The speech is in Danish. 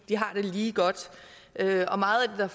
har det lige godt og meget af